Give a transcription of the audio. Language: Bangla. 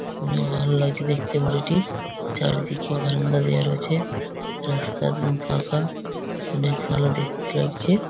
অনেক ভালো লাগছে দেখতে বাড়িটি। চারিদিকে হেলানদা দিয়া রয়েছে। রাস্তার দু ফাঁকা অনেক ভালো দেখতে লাগছে।